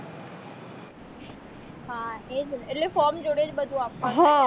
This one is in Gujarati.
હા એ જ ને એટલે form જોડે જ બધું આપવાનું